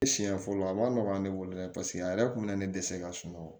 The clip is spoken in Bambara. Siɲɛ fɔlɔ a man nɔgɔ ne bolo dɛ paseke a yɛrɛ kun bɛ ne dɛse ka sunɔgɔ